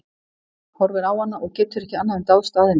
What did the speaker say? Horfir á hana og getur ekki annað en dáðst að henni.